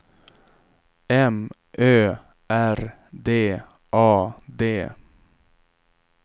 M Ö R D A D